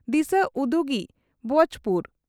ᱫᱤᱥᱟᱹ ᱩᱫᱩᱜᱤᱡ ᱵᱹᱪᱹ ᱯᱩᱨ